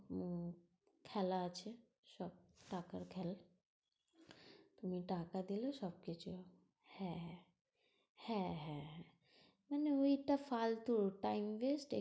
হম খেলা আছে সব টাকার খেল। তুমি টাকা দিলে সবকিছু হয়। হ্যাঁ হ্যাঁ, হ্যাঁ হ্যাঁ হ্যাঁ মানে ঐটা ফালতু time waste এই।